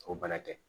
O bana tɛ